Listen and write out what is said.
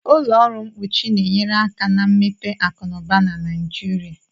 Ụlọ ọrụ mkpuchi na-enyere aka na mmepe akụ na ụba na Nigeria